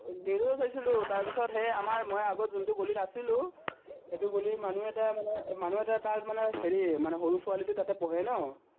news তে চাইছিলো, তাৰপিচত সেই আমাৰ মই আগত আছিলো, সেটো ৰ মানুহ এটাই মানে, মানুহ এটাই তাক মানে হেৰি সৰু ছোৱালীটো তাতে পঢ়ে ন